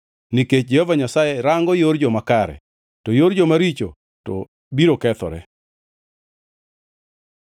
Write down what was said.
nikech Jehova Nyasaye rango yor joma kare, to yor joma richo to biro kethore.